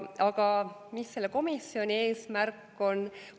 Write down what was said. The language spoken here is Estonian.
Aga mis selle komisjoni eesmärk on?